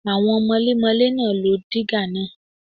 Àwọn mọlémọlé náà lo dígà náà.